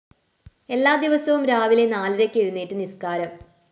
എല്ലാ ദിവസവും രാവിലെ നാലരയ്ക്ക് എഴുന്നേറ്റ് നിസ്‌കാരം